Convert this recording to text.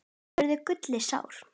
spurði Gulli sár.